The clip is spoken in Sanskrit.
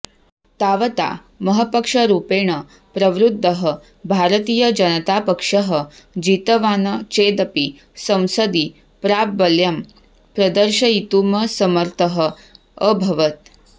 तावता महपक्षरूपेण प्रवृद्धः भारतीयजनतापक्षः जितवान् चेदपि संसदि प्राबल्यं प्रदर्शयितुमसमर्थः अभवत्